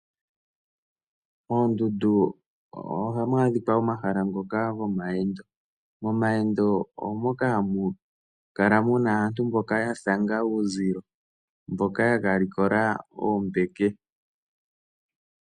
Moondundu ohamu adhika omahala ngoka gomayendo. Momayendo omo moka hamu kala muna aantu mboka ya thanga uuzilo, mboka ya kalikola oombeke.